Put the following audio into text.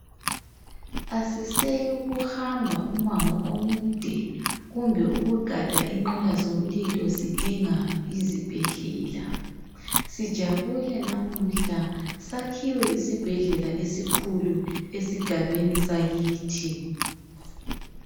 Asiseyukuhamba umango omude ,kumbe ukugada inqola zomlilo sidinga izibhedlela .Sijabule namuhla ,sakhiwe isibhedlela esikhulu esigabeni sakithi.